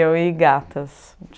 Eu e gatas.